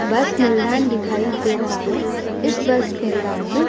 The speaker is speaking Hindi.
बस दिखाई दे रहा है। इस बस में --